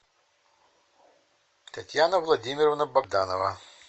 татьяна владимировна богданова